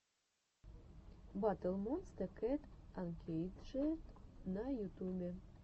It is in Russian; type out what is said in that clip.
батл монсте кэт анкейджед на ютюбе